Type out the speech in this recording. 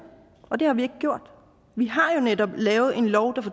og det har vi ikke gjort vi har jo netop lavet en lov der